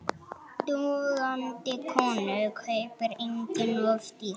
Dugandi konu kaupir enginn of dýrt.